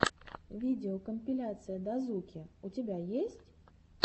видеокомпиляция дазуки у тебя есть